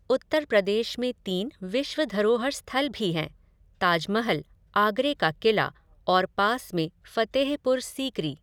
उत्तर प्रदेश में तीन विश्व धरोहर स्थल भी हैंः ताजमहल, आगरे का किला और पास में फ़तेहपुर सीकरी।